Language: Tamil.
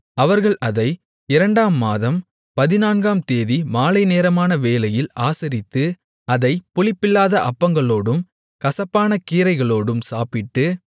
அவர்கள் அதை இரண்டாம் மாதம் பதினான்காம்தேதி மாலைநேரமான வேளையில் ஆசரித்து அதைப் புளிப்பில்லாத அப்பங்களோடும் கசப்பான கீரைகளோடும் சாப்பிட்டு